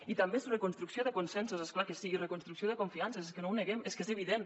i també és reconstrucció de consensos és clar que sí i reconstrucció de confiances és que no ho neguem és que és evident